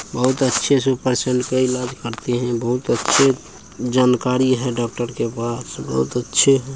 बहुत अच्छे से पेशेंट का इलाज करते हैं बहुत अच्छे जानकारी है डॉक्टर के पास बहुत अच्छे है।